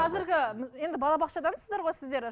қазіргі енді балабақшадансыздар ғой сіздер